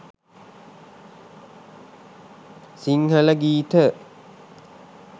sinhala geetha